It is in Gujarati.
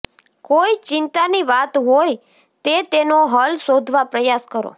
કોઈ ચિંતાની વાત હોય તે તેનો હલ શોધવા પ્રયાસ કરો